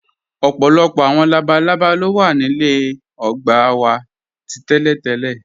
Ọpọlọpọ awọn labàlàbá lo wa ní ilẹ̀ ògbà wa tí tẹ̀lẹ.